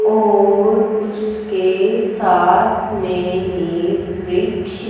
और उसके साथ में ही वृक्ष--